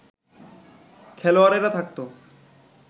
খেলোয়াড়েরা থাকতো